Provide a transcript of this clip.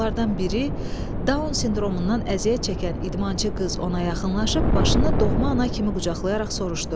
Onlardan biri Down sindromundan əziyyət çəkən idmançı qız ona yaxınlaşıb başını doğma ana kimi qucaqlayaraq soruşdu.